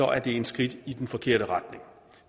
er det et skridt i den forkerte retning